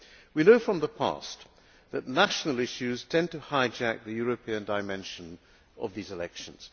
We know from the past that national issues tend to hijack the European dimension of these elections.